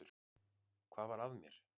Hvað var að mér!